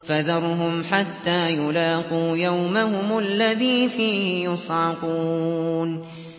فَذَرْهُمْ حَتَّىٰ يُلَاقُوا يَوْمَهُمُ الَّذِي فِيهِ يُصْعَقُونَ